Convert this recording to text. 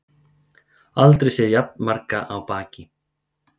Aldrei séð jafn marga á baki